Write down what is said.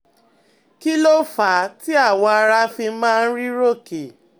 Kí ló fà á tí awọ ara fi máa ń rí rọ́ọ̀kẹ́?